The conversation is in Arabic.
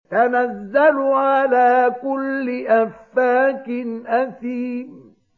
تَنَزَّلُ عَلَىٰ كُلِّ أَفَّاكٍ أَثِيمٍ